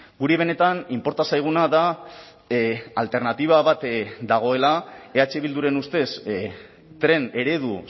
guri benetan inporta zaiguna da alternatiba bat dagoela eh bilduren ustez tren eredu